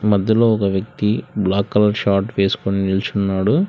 మధ్యలో ఒక వ్యక్తి బ్లాక్ కలర్ షాట్ వేసుకుని నిల్చున్నాడు.